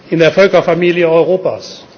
Platz in der Völkerfamilie Europas.